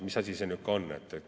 Mis asi see on?